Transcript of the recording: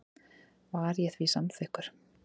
Var ég því samþykkur.